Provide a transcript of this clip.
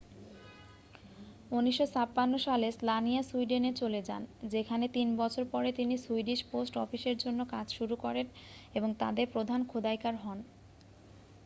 1956 সালে স্লানিয়া সুইডেনে চলে যান যেখানে তিন বছর পরে তিনি সুইডিশ পোস্ট অফিসের জন্য কাজ শুরু করেন এবং তাদের প্রধান খোদাইকার হন